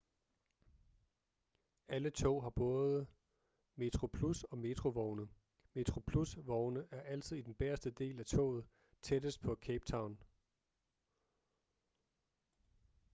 alle tog har både metroplus og metro vogne metroplus vogne er altid i den bagerste del af toget tættest på cape town